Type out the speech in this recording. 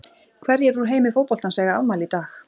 Hverjir úr heimi fótboltans eiga afmæli í dag?